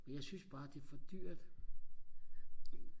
jeg synes bare det er for dyrt